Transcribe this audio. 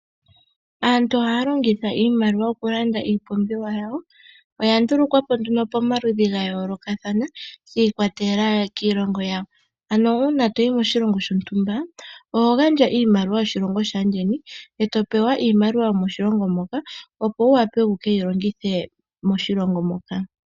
Aantu ohaya longitha iimaliwa oku landa iipumbiwa yawo. Oya ndulukwapo nduno pamaludhi ga yoolokathana shiikwatelela kiilongo yawo. Ano uuna toyi koshilongo shontumba oho gandja iimaliwa yoshilongo shaayeni eto pewa iimaliwa yomoshilongo moka opo wu wape wukeyilongithe moshilongo mo.